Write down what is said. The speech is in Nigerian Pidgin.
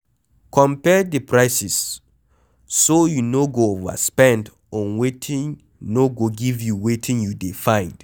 Compare di prices so you no go overspend on wetin no go give you wetin you dey find